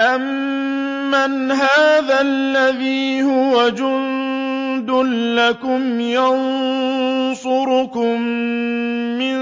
أَمَّنْ هَٰذَا الَّذِي هُوَ جُندٌ لَّكُمْ يَنصُرُكُم مِّن